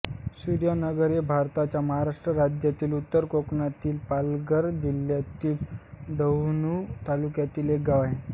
सूर्यानगर हे भारताच्या महाराष्ट्र राज्यातील उत्तर कोकणातील पालघर जिल्ह्यातील डहाणू तालुक्यातील एक गाव आहे